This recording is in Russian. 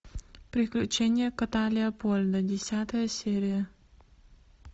приключения кота леопольда десятая серия